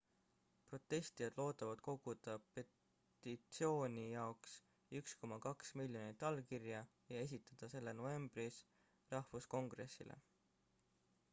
protestijad loodavad koguda petitsiooni jaoks 1,2 miljonit allkirja ja esitada selle novembris rahvuskongressile